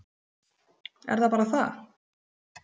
Er það bara það?